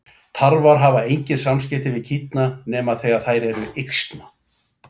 Tarfar hafa engin samskipti við kýrnar nema þegar þær eru yxna.